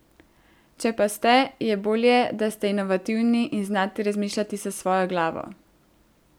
Če pa ste, je bolje, da ste inovativni in znate razmišljati s svojo glavo.